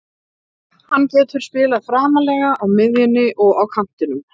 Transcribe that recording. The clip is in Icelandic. Hann getur spilað framarlega á miðjunni og á kantinum.